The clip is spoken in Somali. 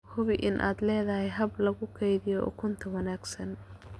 Hubi in aad leedahay hab lagu kaydiyo ukunta oo wanaagsan.